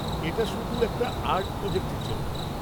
এটা শুধু একটা আর্ট প্রোজেক্টের জন্য।